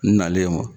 N nalen wa